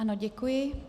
Ano, děkuji.